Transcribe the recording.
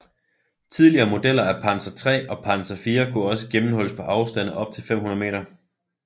Tidligere modeller af Panzer III og Panzer IV kunne også gennemhulles på afstande op til 500 m